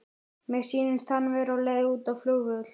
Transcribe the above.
Mér sýnist hann vera á leið út á flugvöll.